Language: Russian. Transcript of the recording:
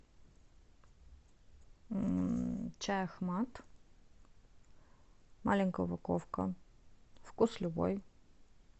чай ахмат маленькая упаковка вкус любой